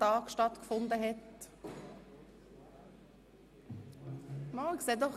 Wer von Ihnen hat das mitbekommen?